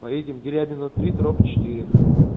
поедем дерябина три дробь четыре